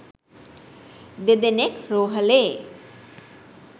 දෙදෙනෙක් රෝහලේ